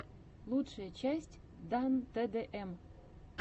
лучшая часть дан тэ дэ эм